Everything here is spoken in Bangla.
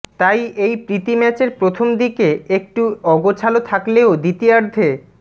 তাই এই প্রীতি ম্যাচের প্রথম দিকে একটু অগোছালো থাকলেও দ্বিতীয়ার্ধে